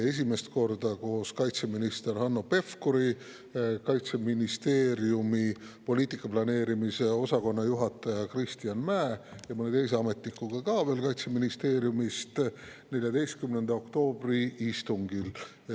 Esimest korda koos kaitseminister Hanno Pevkuri, Kaitseministeeriumi poliitika planeerimise osakonna juhataja Kristjan Mäe ja veel mõne Kaitseministeeriumi ametnikuga 14. oktoobri istungil.